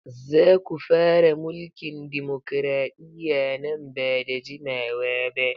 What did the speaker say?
Za ku fara mulkin dimokraɗiyya nan ba da jimawa ba!